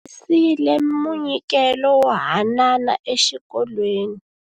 Va humesile munyikelo wo hanana exikolweni.